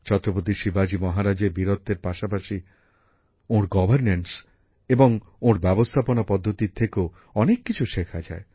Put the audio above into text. ছত্রপতি শিবাজী মহারাজের বীরত্বের পাশাপাশি ওঁর প্রশাসনিক উদ্যোগ এবং ওঁর ব্যবস্থাপনা পদ্ধতির থেকেও অনেক কিছু শেখা যায়